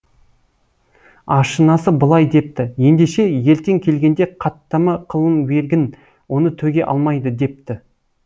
ашынасы былай депті ендеше ертең келгенде қаттама қылын бергін оны төге алмайды депті